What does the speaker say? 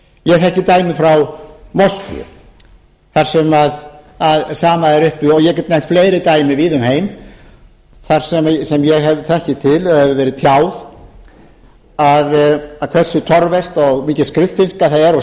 ég þekki dæmi frá moskvu þar sem sama er uppi og ég get nefnt fleiri dæmi víða um heim sem ég þekki til og hefur verið tjáð hversu torvelt og mikil skriffinnska það er og